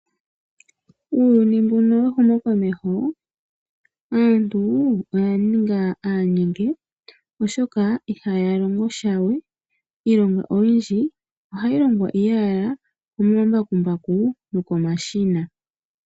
Uuyuni mbuno wehumo komeho aantu oya ninga aanyenge oshoka ihaya longosha we . Iilonga oyindji ohayi longwa owala komambakumbaku noko mashina.